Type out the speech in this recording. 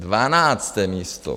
Dvanácté místo.